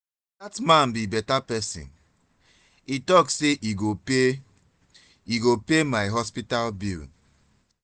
dat man be better person he talk say he go pay he go pay my hospital bill